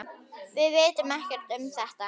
Við vitum ekkert um þetta.